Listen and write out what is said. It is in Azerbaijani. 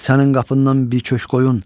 Sənin qapından bir köşk qoyun.